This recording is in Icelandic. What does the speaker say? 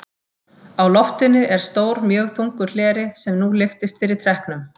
Á loftinu er stór mjög þungur hleri, sem nú lyftist fyrir trekknum.